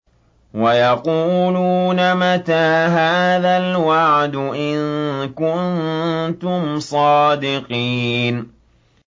وَيَقُولُونَ مَتَىٰ هَٰذَا الْوَعْدُ إِن كُنتُمْ صَادِقِينَ